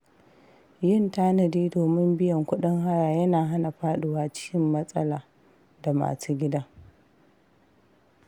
Yin tanadi domin biyan kuɗin haya yana hana faɗuwa cikin matsala da masu gidan.